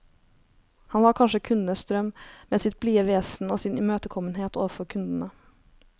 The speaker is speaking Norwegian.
Han var kanskje kundenes drøm, med sitt blide vesen og sin imøtekommenhet overfor kundene.